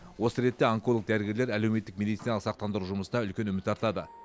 осы ретте онколог дәрігерлер әлеуметтік медициналық сақтандыру жұмысына үлкен үміт артады